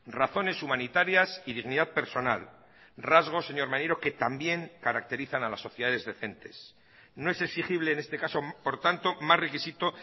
razones humanitarias y dignidad personal rasgos señor maneiro que también caracterizan a las sociedades decentes no es exigible en este caso por tanto más requisito